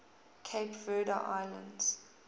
cape verde islands